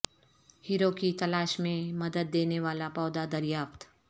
ہیروں کی تلاش میں مدد دینے والا پودا دریافت